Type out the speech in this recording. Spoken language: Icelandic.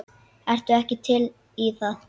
Ertu ekki til í það?